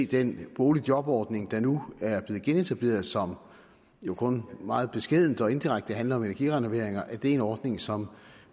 den boligjobordning der nu er blevet genetableret og som jo kun meget beskedent og indirekte handler om energirenoveringer er en ordning som